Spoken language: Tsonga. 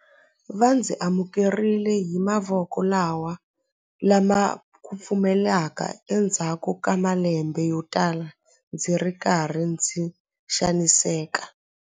Va ndzi amukerile hi mavoko lama kufumelaka endzhaku ka malembe yotala ndzi ri karhi ndzi xaniseka.